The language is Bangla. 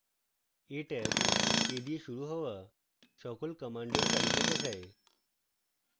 a ট্যাব a দিয়ে শুরু হওয়া সকল commands তালিকা দেখায়